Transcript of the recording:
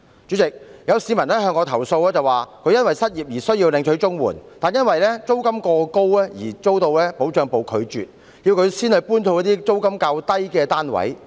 主席，有市民向我投訴，他因失業而要領取綜援，但他的申請因租金過高而被拒絕，還被要求遷往租金較低的單位。